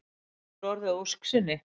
Honum hefur nú orðið að ósk sinni.